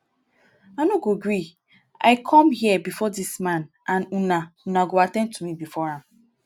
i no go gree i come here before dis man and una una go at ten d to me before am